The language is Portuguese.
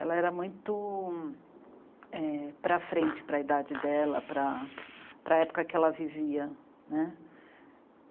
Ela era muito... é para frente para idade dela, para época que ela vivia, né.